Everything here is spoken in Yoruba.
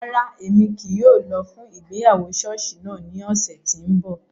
Rara, Emi kii yóò lọ fun ìgbéyàwó ṣọọṣi naa ni ọsẹ ti n bọ.